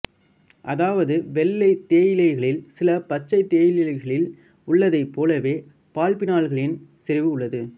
அதாவது வெள்ளை தேயிலைகளில் சில பச்சைத் தேயிலைகளில் உள்ளதைப் போலவே பாலிபினால்களின் செறிவு உள்ளது